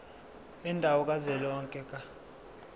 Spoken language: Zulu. yendawo kazwelonke ka